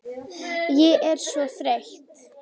Ég er svo þreytt